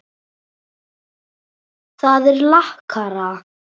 Það er lakara.